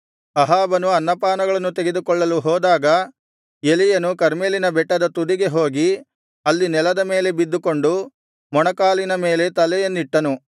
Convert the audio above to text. ಅಹಾಬನು ಅನ್ನಪಾನಗಳನ್ನು ತೆಗೆದುಕೊಳ್ಳಲು ಹೋದಾಗ ಎಲೀಯನು ಕರ್ಮೆಲಿನ ಬೆಟ್ಟದ ತುದಿಗೆ ಹೋಗಿ ಅಲ್ಲಿ ನೆಲದ ಮೇಲೆ ಬಿದ್ದುಕೊಂಡು ಮೊಣಕಾಲಿನ ಮೇಲೆ ತಲೆಯನ್ನಿಟ್ಟನು